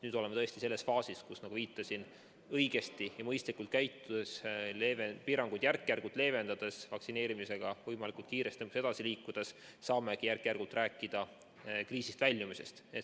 Nüüd oleme tõesti selles faasis, kus, nagu viitasin, õigesti ja mõistlikult käitudes, piiranguid järk-järgult leevendades, vaktsineerimisega võimalikult kiiresti edasi liikudes, saamegi järk-järgult rääkida kriisist väljumisest.